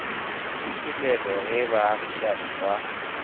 ke selelo ge baagišani ba